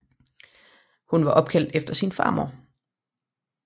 Hun var opkaldt efter sin farmor